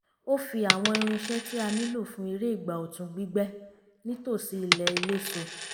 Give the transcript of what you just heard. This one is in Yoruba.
ó fi àwọn irinṣẹ́ tí a nílò fún eré ìgbà ọ̀tun gbígbẹ́ nítòsí ilẹ̀ eléso